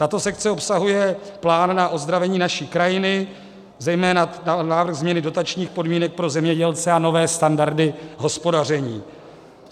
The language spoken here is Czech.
Tato sekce obsahuje plán na ozdravení naší krajiny, zejména návrh změny dotačních podmínek pro zemědělce a nové standardy hospodaření.